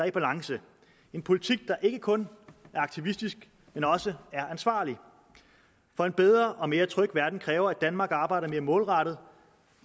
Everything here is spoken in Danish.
i balance en politik der ikke kun er aktivistisk men også er ansvarlig for en bedre og mere tryg verden kræver at danmark arbejder mere målrettet